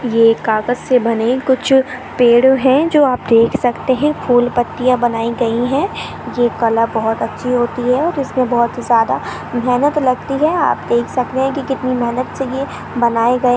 ये कागज से बने कुछ पेड़ हैं जो आप देख सकते है फूल पत्तिया बनाई गई हैं ये कला बहुत अच्छी होती है जिसमे बहुत ज्यादा मेहनत लगती है आप देख सकते है की ये कितनी मेहनत से ये बनायीं गये--